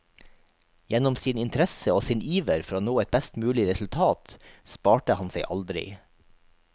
Gjennom sin interesse og sin iver for å nå et best mulig resultat, sparte han seg aldri.